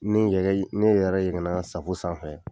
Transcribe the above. Ne yɛrɛ ye ne yɛrɛ yɛgɛn na safo sanfɛ